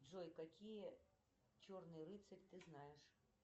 джой какие черный рыцарь ты знаешь